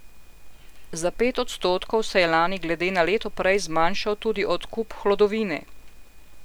Za pet odstotkov se je lani glede na leto prej zmanjšal tudi odkup hlodovine.